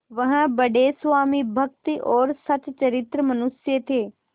वह बड़े स्वामिभक्त और सच्चरित्र मनुष्य थे